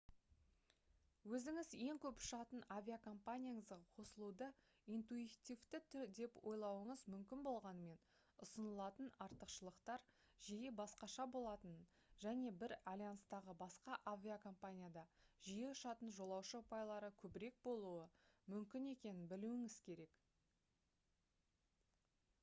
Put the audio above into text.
өзіңіз ең көп ұшатын авиакомпанияңызға қосылуды интуитивті деп ойлауыңыз мүмкін болғанымен ұсынылатын артықшылықтар жиі басқаша болатынын және бір альянстағы басқа авиакомпанияда жиі ұшатын жолаушы ұпайлары көбірек болуы мүмкін екенін білуіңіз керек